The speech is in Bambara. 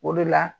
O de la